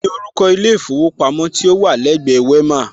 Kíni orúkọ ilé ìfowópamọ́ tí ó wà lẹ́gbẹ Wema?